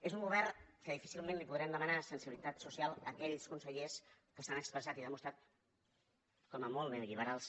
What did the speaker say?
és un govern en què difícilment podrem demanar sensibilitat social a aquells consellers que s’han expressat i demostrat com a molt neolliberals